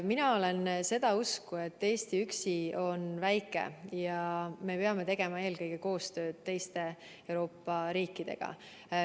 Mina olen seda usku, et Eesti üksi on väike ja me peame tegema eelkõige koostööd teiste Euroopa riikidega.